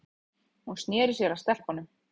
Hún sneri sér að stelpunum.